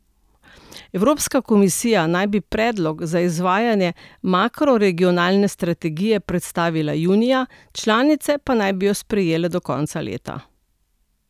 Evropska komisija naj bi predlog za izvajanje makroregionalne strategije predstavila junija, članice pa naj bi jo sprejele do konca leta.